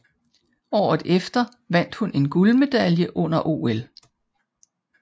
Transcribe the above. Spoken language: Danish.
Året efter vandt hun en guldmedalje under OL